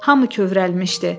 Hamı kövrəlmişdi.